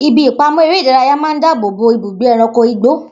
Ibi ìpamọ́ eré ìdárayá máa ń dáàbò bo ibùgbé ẹranko igbó.